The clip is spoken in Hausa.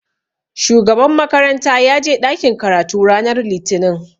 Shugaban makaranta ya je ɗakin karatu ranar Litinin